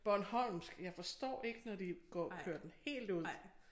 Bornholmsk jeg forstår ikke når de går kører den helt ud